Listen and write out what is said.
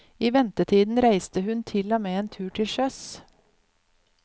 I ventetiden reiste hun til og med en tur til sjøs.